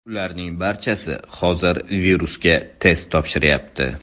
Ularning barchasi hozir virusga test topshiryapti.